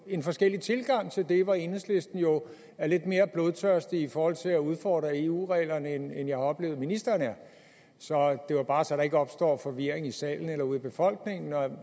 en forskellig tilgang til det hvor enhedslisten jo er lidt mere blodtørstige i forhold til at udfordre eu reglerne end jeg har oplevet at ministeren er så det var bare så der ikke opstår forvirring i salen eller ude i befolkningen om